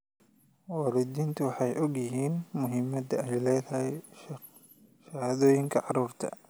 Waalidiintu waxay og yihiin muhiimadda ay leedahay shahaadooyinka carruurta.